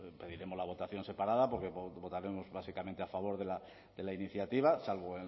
pediremos la votación separada porque votaremos básicamente a favor de la iniciativa salvo